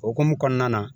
Okumu kɔnɔna na